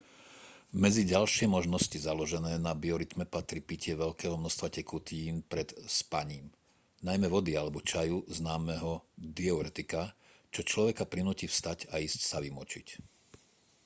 medzi ďalšie možnosti založené na biorytme patrí pitie veľkého množstva tekutín pred spaním najmä vody alebo čaju známeho diuretika čo človeka prinúti vstať a ísť sa vymočiť